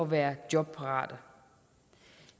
være jobparate